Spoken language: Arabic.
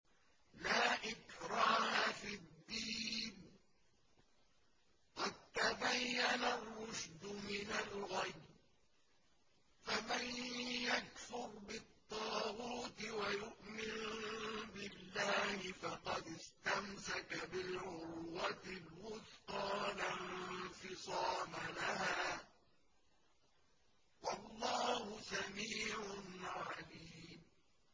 لَا إِكْرَاهَ فِي الدِّينِ ۖ قَد تَّبَيَّنَ الرُّشْدُ مِنَ الْغَيِّ ۚ فَمَن يَكْفُرْ بِالطَّاغُوتِ وَيُؤْمِن بِاللَّهِ فَقَدِ اسْتَمْسَكَ بِالْعُرْوَةِ الْوُثْقَىٰ لَا انفِصَامَ لَهَا ۗ وَاللَّهُ سَمِيعٌ عَلِيمٌ